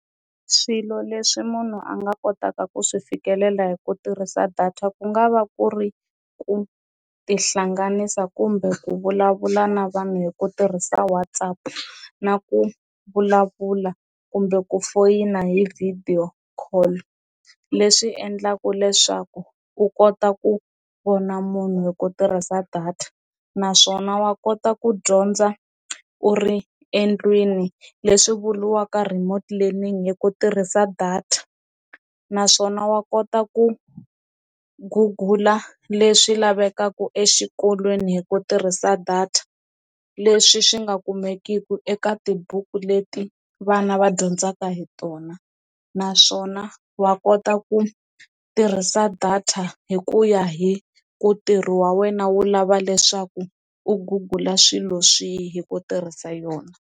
Swilo leswi munhu a nga kotaka ku swi fikelela hi ku tirhisa data ku nga va ku ri ku tihlanganisa kumbe ku vulavula na vanhu hi ku tirhisa WhatsApp na ku vulavula kumbe ku foyina hi video call, leswi endlaku leswaku u kota ku vona munhu hi ku tirhisa data naswona wa kota ku dyondza u ri endlwini leswi vuriwaka remote learning hi ku tirhisa data naswona wa kota ku gugula leswi lavekaka exikolweni hi ku tirhisa data, leswi swi nga kumekiki eka tibuku leti vana va dyondzaka hi tona naswona wa kota ku tirhisa data hi ku ya hi ku ntirho wa wena wu lava leswaku u gugula swilo swihi hi ku tirhisa yona.